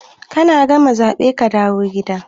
Kana gama zabe kadawo gida.